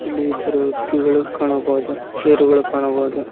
ಇಲ್ಲಿ ಇಬ್ಬರು ವ್ಯಕ್ತಿಗಳು ಕಾಣಬಹುದು ಚೇರುಗಳು ಕಾಣಬಹುದು.